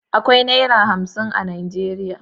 Akwai Naira hamsin a Najeriya.